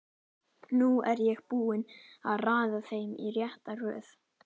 Nú er ég búinn að raða þeim í rétta röð.